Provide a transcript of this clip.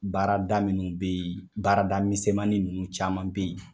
Baarada minnu bɛ ye baarada misɛnnin ninnu caman bɛ ye.